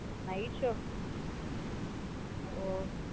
Night show ஒ.